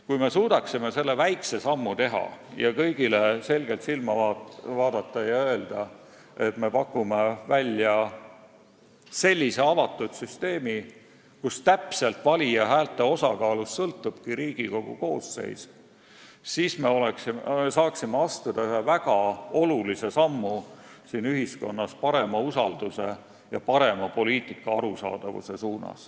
Kui me suudaksime teha selle väikse sammu ning kõigile selgelt silma vaadata ja öelda, et me pakume välja avatud süsteemi, kus täpselt valija häälte osakaalust sõltubki Riigikogu koosseis, siis me saaksime astuda siin ühiskonnas väga suure sammu parema usalduse ja poliitika arusaadavuse poole.